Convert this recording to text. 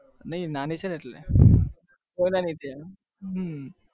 નહિ નાની છે ને એટલે હમમ